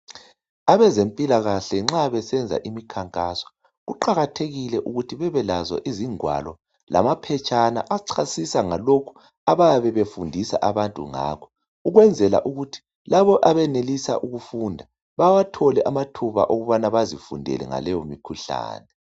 Abezempilakahle nxa besenza imikhankaso kuqakathekile ukuthi bebelazo izingwalo lamaphetshana achasisa ngalokho abayabe befundisa abantu ngakho ukwenzela ukuthi labo abenelisa ukufunda bawathole amathuba okuthi bazifundele ngaleyomikhuhlane.